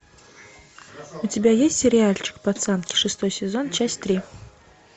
у тебя есть сериальчик пацанки шестой сезон часть три